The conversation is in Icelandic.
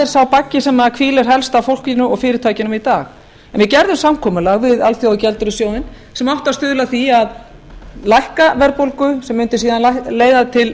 er sá baggi sem hvílir helst á fólkinu og fyrirtækjunum í dag við gerðum samkomulag við alþjóðagjaldeyrissjóðinn sem átti að stuðla að því að lækka verðbólgu sem mundi síðan leiða til